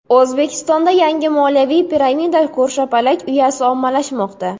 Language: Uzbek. O‘zbekistonda yangi moliyaviy piramida ko‘rshapalak uyasi ommalashmoqda .